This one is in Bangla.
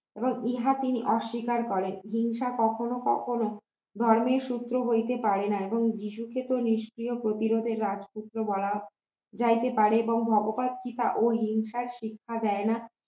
ইহা তিনি অস্বীকার করেন হিংসা কখনো কখনো ধর্মের সূত্র হইতে পারে না এবং যীশুকে তো নিষ্ক্রিয় প্রতিরোধের রাজপুত্র বলা যাইতে পারে এবং ভগবান সীতাও হিংসার শিক্ষা দেয় না